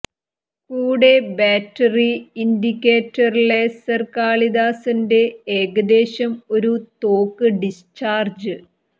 കൂടെ battery indicator laser കാളിദാസന്റെ ഏകദേശം ഒരു തോക്ക് ഡിസ്ചാർജ്